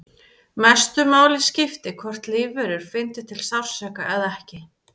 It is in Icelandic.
Mestu máli skipti hvort lífverur fyndu til sársauka eða ekki.